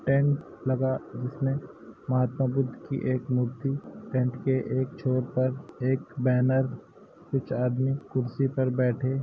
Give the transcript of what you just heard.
tent लगा जिसमे महात्मा बुद्ध एक मूर्ति टेंट के एक छोर पर एक बैनर कुछ आदमी कुर्सी पर बैठे --